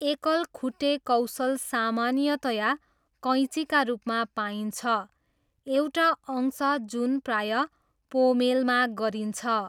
एकल खुट्टे कौशल सामान्यतया कैँचीका रूपमा पाइन्छ, एउटा अंश जुन प्राय पोमेलमा गरिन्छ।